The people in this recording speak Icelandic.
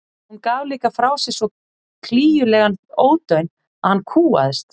Hún gaf líka frá sér svo klígjulegan ódaun að hann kúgaðist.